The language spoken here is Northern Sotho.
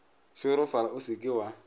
šorofala o se ke wa